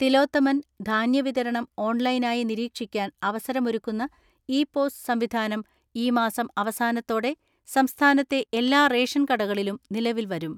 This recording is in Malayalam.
തിലോത്തമൻ, ധാന്യ വിതരണം ഓൺലൈനായി നിരീക്ഷിക്കാൻ അവസരമൊരുക്കുന്ന ഇ പോസ് സംവിധാനം ഈ മാസം അവസാനത്തോടെ സംസ്ഥാനത്തെ എല്ലാ റേഷൻ കടകളിലും നിലവിൽ വരും.